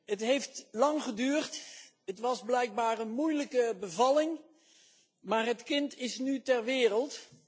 Het heeft lang geduurd, het was blijkbaar een moeilijke bevalling, maar het kind is nu ter wereld.